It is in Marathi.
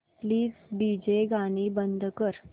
प्लीज डीजे गाणी बंद कर